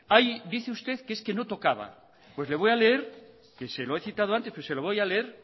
dice usted que es que no tocaba pues le voy a leer que se lo he citado antes pero se lo voy a leer